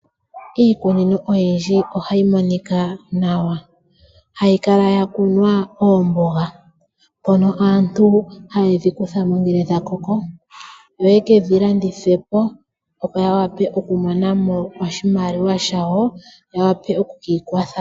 Iikunino oyindji ohayi monika nawa hayi kala yakunwa oomboga, mpono aantu hayedhi kutha mo ngele dhakoko, yo yekedhi landithepo opo yawape okumona mo oshimaliwa shawo yawape okwiikwatha.